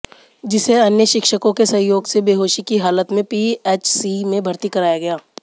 जिसे अन्य शिक्षकों के सहयोग से बेहोशी की हालत मे पीएचसी में भर्ती कराया गया